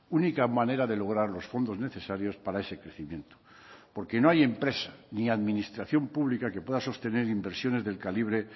única manera de lograr los fondos necesarios para ese crecimiento porque no hay empresa ni administración pública que pueda sostener inversiones del calibre